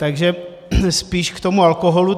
Takže spíš k tomu alkoholu.